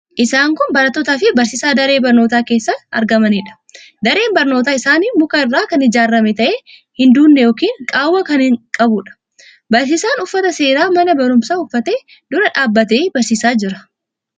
Isaan kun barattootaafi barsiisaa daree barnootaa keessatti argamaniidha. Dareen barnootaa isaanii muka irraa kan ijaarame ta'ee hin duudne yookiin qaawwaa kan qabuudha. Barsiisaan uffata seeraa mana barumsaa uffatee dura dhaabbatee barsiisaa jira.